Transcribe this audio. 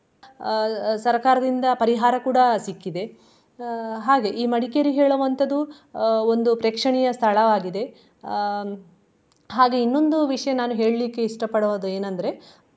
ಅಹ್ ಸರಕಾರದಿಂದ ಪರಿಹಾರ ಕೂಡಾ ಸಿಕ್ಕಿದೆ. ಅಹ್ ಹಾಗೆ ಈ ಮಡಿಕೇರಿ ಹೇಳುವಂತದು ಅಹ್ ಒಂದು ಪ್ರೇಕ್ಷಣೀಯ ಸ್ಥಳ ಆಗಿದೆ. ಅಹ್ ಹಾಗೆ ಇನ್ನೊಂದು ವಿಷಯ ನಾನು ಹೇಳ್ಲಿಕ್ಕೆ ಇಷ್ಟ ಪಡೋದ್ ಏನಂದ್ರೆ